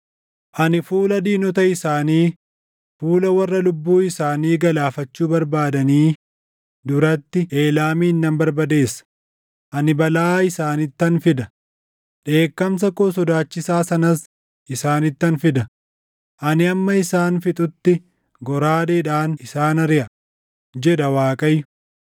Ani fuula diinota isaanii, fuula warra lubbuu isaanii galaafachuu barbaadanii duratti // Eelaamin nan barbadeessa; ani balaa isaanittan fida; dheekkamsa koo sodaachisaa sanas isaanittan fida; ani hamma isaan fixutti goraadeedhaan isaan ariʼa” jedha Waaqayyo.